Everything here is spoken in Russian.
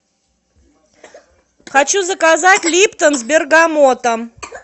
хочу заказать липтон с бергамотом